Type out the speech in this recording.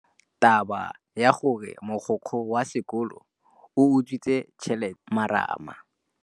Taba ya gore mogokgo wa sekolo o utswitse tšhelete ke khupamarama.